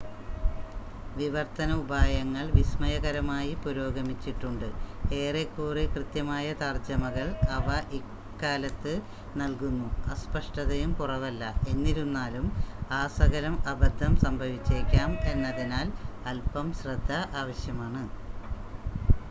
വിവർത്തന ഉപായങ്ങൾ വിസ്മയകരമായി പുരോഗമിച്ചിട്ടുണ്ട് ഏറെക്കുറെ കൃത്യമായ തർജ്ജമകൾ അവ ഇക്കാലത്ത് നൽകുന്നു അസ്പഷ്ടതയും കുറവല്ല എന്നിരുന്നാലും ആസകലം അബദ്ധം സംഭവിച്ചേക്കാം എന്നതിനാൽ അൽപം ശ്രദ്ധ ആവശ്യമാണ്